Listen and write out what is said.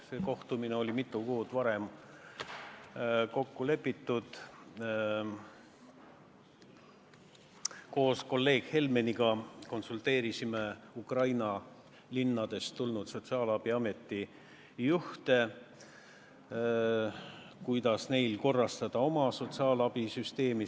See kohtumine oli mitu kuud varem kokku lepitud – koos kolleeg Helmeniga konsulteerisime Ukraina linnadest tulnud sotsiaalabiameti juhte, kuidas korrastada sotsiaalabisüsteemi.